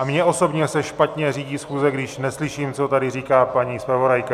A mně osobě se špatně řídí schůze, když neslyším, co tady říká paní zpravodajka.